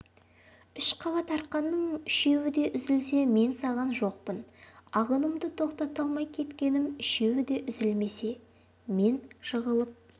үш қабат арқанның үшеуі де үзілсе мен саған жоқпын ағынымды тоқтата алмай кеткенім үшеуі де үзілмесе мен жығылып